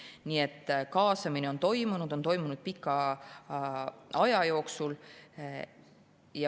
Nii et kaasamine on toimunud, on toimunud pika aja jooksul.